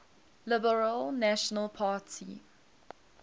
liberal national party